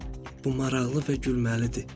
Bu maraqlı və gülməlidir.